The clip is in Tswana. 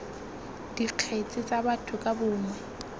dikgetse tsa batho ka bongwe